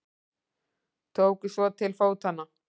Tóku svo til fótanna.